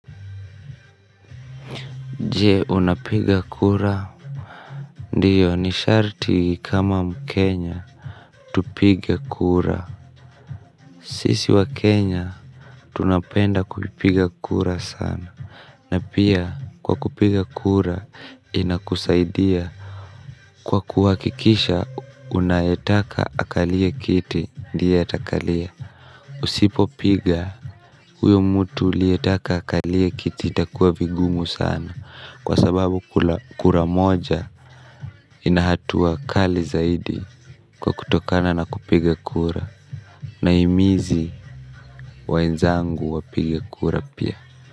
Je unapiga kura ndiyo ni sharti kama mkenya tupige kura. Sisi wa Kenya, tunapenda kupiga kura sana. Na pia, kwa kupiga kura, inakusaidia. Kwa kuwakikisha, unaetaka akalie kiti. Ndiye atakalia. Usipo piga, huyo mtu ulietaka akalie kiti. Itakuwa vigumu sana. Kwa sababu kura moja inahatua kali zaidi kwa kutokana na kupiga kura. Nahimizi waenzangu wapige kura pia.